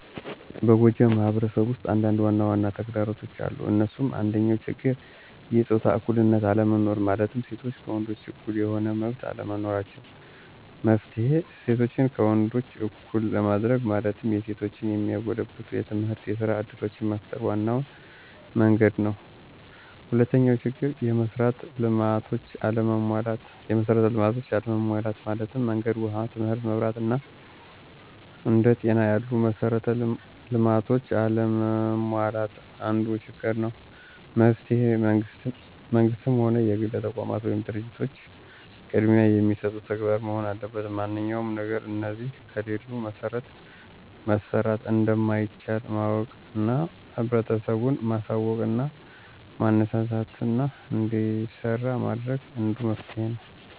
በጎጃም ማህበረሰብ ውስጥ አንዳንድ ዋናዋና ተግዳሮቶች አሉ እንሱም፦ አንደኛው ችግር የጾታ እኩልነት አለመኖር ማለትም ሴቶች ከወንዶች እኩል የሆነ መመብት አለመኖራቸው። መፍትሔ :እሴቶችን ከወንዶች እኩል ለማድርግ ማለትም የሴቶችን የሚያጎለብቱ የትምህርትና የስራ እድሎችን መፍጠር ዋናው መንግድ ነው። ሁለተኛው ችግር፦ የመሥራት ልማቶች አለመሟላት ማለትም መንገድ፣ ውሃ ትምህርት፣ መብራት አና አንደ ጤና ያሉ መሠራት ልማቶች አለመሟላት አንዱ ችግር ነው። መፍትሔ መንግስትም ሆነ የግል ተቋማት ወይም ድርጂቶች ቅድሚያ የሚሰጡት ተግባር መሆን አለበት ማንኛውም ነገር እነዚህ ከሌሉ መሠራት እንደማይቻል ማወቅና ህብረተሰቡን ማሳውቅና ማነሳሳትና እንዲሰራ ማድረግ አንዱ መፍትሔ ነው።